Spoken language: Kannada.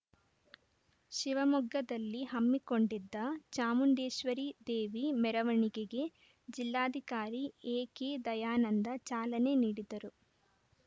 ಶಿವಮೊಗ್ಗದಲ್ಲಿ ಹಮ್ಮಿಕೊಂಡಿದ್ದ ಚಾಮುಂಡೇಶ್ವರಿ ದೇವಿ ಮೆರವಣಿಗೆಗೆ ಜಿಲ್ಲಾಧಿಕಾರಿ ಎ ಕೆ ದಯಾನಂದ ಚಾಲನೆ ನೀಡಿದರು